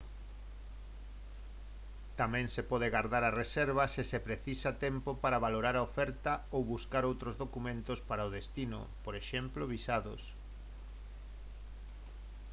tamén se pode gardar a reserva se se precisa tempo para valorar a oferta ou buscar outros documentos para o destino por exemplo visados